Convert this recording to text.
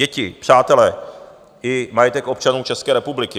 Děti, přátele i majetek občanů České republiky.